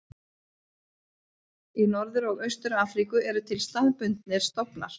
Í Norður og Austur-Afríku eru til staðbundnir stofnar.